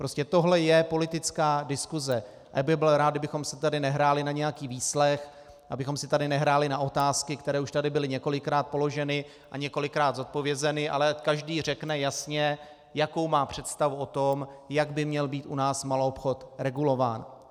Prostě tohle je politická diskuse a já bych byl rád, kdybychom si tady nehráli na nějaký výslech, abychom si tady nehráli na otázky, které už tady byly několikrát položeny a několikrát zodpovězeny, ale každý řekne jasně, jakou má představu o tom, jak by měl být u nás maloobchod regulován.